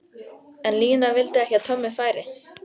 En Lína vildi ekki að Tommi færi.